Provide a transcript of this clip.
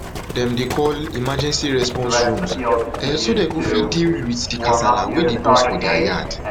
dem dey call emergency response rooms um so dem go fit deal fit deal wit di kasala wey dey burst for dia yard